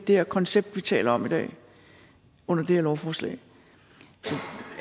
det her koncept vi taler om i dag under det her lovforslag